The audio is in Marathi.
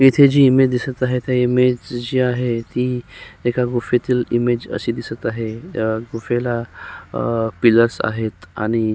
इथे जी इमेज दिसत आहे ती इमेज जी आहे ती एका गुफेतील इमेज अशी दिसत आहे अ गुफेला अ पिलर्स आहेत आणि--